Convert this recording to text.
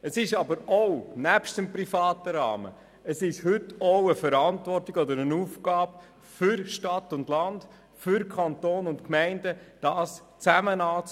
Neben dem privaten Rahmen liegt es auch in der Verantwortung und ist es eine Aufgabe von Stadt und Land, für Kanton und Gemeinden, das Ganze gemeinsam anzugehen.